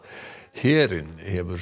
herinn hefur